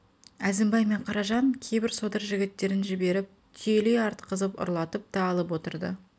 әзімбай мен қаражан кейбір содыр жігіттерін жіберіп түйелей артқызып ұрлатып та алып отырды